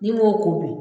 N'i m'o ko dun